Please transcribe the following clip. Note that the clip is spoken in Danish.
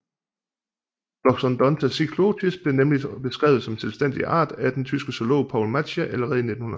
Loxondonta cyclotis blev nemlig beskrevet som selvstændig art af den tyske zoolog Paul Matschie allerede i 1900